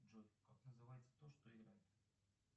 джой как называется то что играет